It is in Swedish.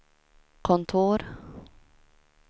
kontor